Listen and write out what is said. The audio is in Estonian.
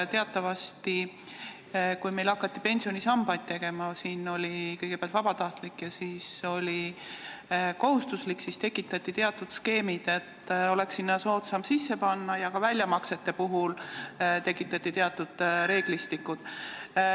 Teatavasti, kui meil hakati pensionisambaid tegema – kõigepealt oli see vabatahtlik ja siis oli kohustuslik –, siis tekitati teatud skeemid, et oleks sinna soodsam raha sisse panna, ja ka väljamaksete puhul tekitati teatud reeglistikud.